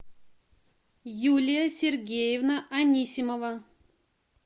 юлия сергеевна анисимова